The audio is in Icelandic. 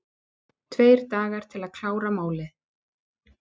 Tveir dagar til að klára málin